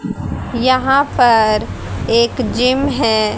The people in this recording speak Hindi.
यहां पर एक जिम है।